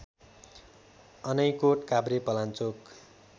Anaikot Kavrepalanchok